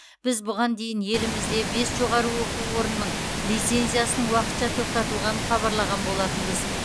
біз бұған дейін елімізде бес жоғары оқу орынның лицензиясының уақытша тоқтатылғанын хабарлаған болатынбыз